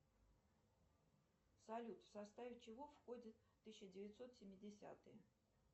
салют в составе чего входят тысяча девятьсот семидесятые